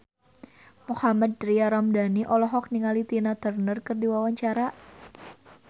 Mohammad Tria Ramadhani olohok ningali Tina Turner keur diwawancara